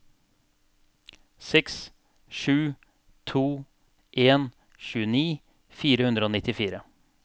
seks sju to en tjueni fire hundre og nittifire